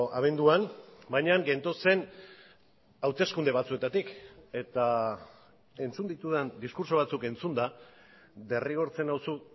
abenduan baina gentozen hauteskunde batzuetatik eta entzun ditudan diskurtso batzuk entzunda derrigortzen nauzu